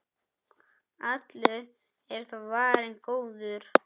Allur er þó varinn góður.